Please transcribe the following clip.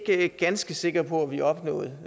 ikke ganske sikker på at vi opnåede